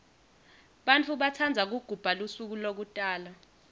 bantfu batsandza kugubha lusuko lekutalwa